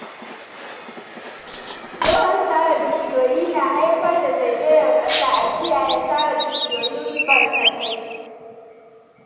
Yawan sare bishiyoyi na haifar da zezayar ƙasa, a kiyaye sare bishiyoyi barkatai.